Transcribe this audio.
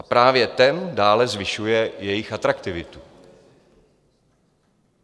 A právě ten dále zvyšuje jejich atraktivitu.